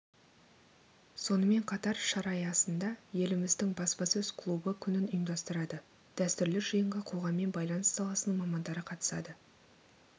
сонымен қатар шара аясында еліміздің баспасөз клубы күнін ұйымдастырады дәстүрлі жиынға қоғаммен байланыс саласының мамандары қатысады